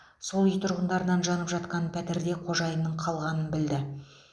сол үй тұрғындарынан жанып жатқан пәтерде қожайынның қалғанын білді